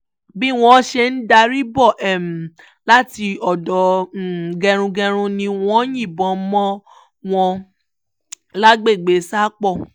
bí wọ́n ṣe ń darí bọ̀ láti odò gẹrungẹrun ni wọ́n yìnbọn mọ́ wọn lágbègbè sápó